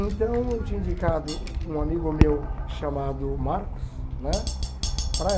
Então eu tinha indicado um amigo meu chamado Marcos né para ela.